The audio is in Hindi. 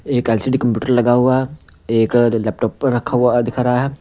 एक एल_सी_डी कंप्यूटर लगा हुआ है एक लैपटॉप पर रखा हुआ दिखा रहा है।